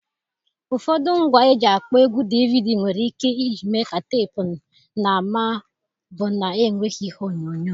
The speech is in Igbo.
Ụfọdụ ngwa eji akpọ egwú DVD nwere ike iji mee ka teepu na ma ọ bụ na-enweghị ihe onyonyo.